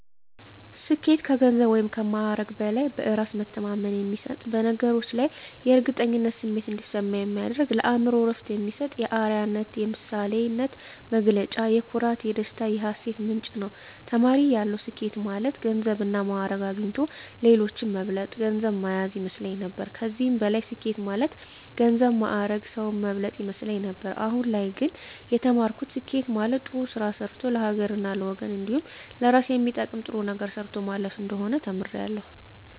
ስኬት ከገንዘብ ወይም ከማዕረግ በላይ በእራስ መተማመን የሚሰጥ በነገሮች ላይ የእርግጠኝነት ስሜት እንዲሰማ የሚያደርግ ለአእምሮ እረፍት የሚሰጥ የአረያነት የምሳሌነት መገለጫ የኩራት የደስታ የሀሴት ምንጭ ነዉ። ተማሪ እያለሁ ስኬት ማለት ገንዘብና ማእረግ አግኝቶ ሌሎችን መብለጥ ገንዘብ ማያዝ ይመስለኝ ነበር ከዚህም በላይ ስኬት ማለት ገንዘብ ማእረግ ሰዉን መብለጥ ይመስለኝ ነበር አሁን ላይ ግን የተማርኩት ስኬት ማለት ጥሩ ስራ ሰርቶ ለሀገርና ለወገን እንዲሁም ለእራስ የሚጠቅም ጥሩ ነገር ሰርቶ ማለፍ እንደሆነ ተምሬያለሁ።